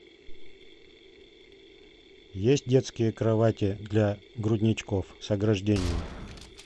есть детские кровати для грудничков с ограждениями